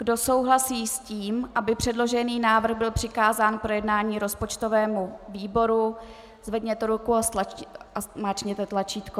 Kdo souhlasí s tím, aby předložený návrh byl přikázán k projednání rozpočtovému výboru, zvedněte ruku a zmáčkněte tlačítko.